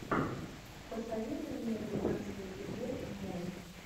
посоветуй мне тринадцатый эпизод мост